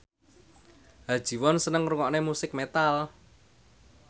Ha Ji Won seneng ngrungokne musik metal